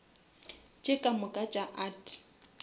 tše ka moka tša art